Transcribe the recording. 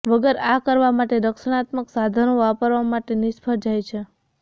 વગર આ કરવા માટે રક્ષણાત્મક સાધનો વાપરવા માટે નિષ્ફળ જાય છે